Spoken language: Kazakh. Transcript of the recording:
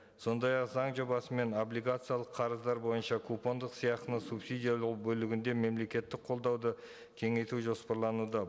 сондай ақ заң жобасымен облигациялық қарыздар бойынша купондық сыйақыны субсидиялау бөлігінде мемлекеттік қолдауды кеңейту жоспарлануда